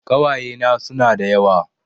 Ƙawayena suna da yawa